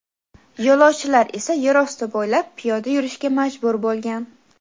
Yo‘lovchilar esa yer osti bo‘ylab piyoda yurishga majbur bo‘lgan.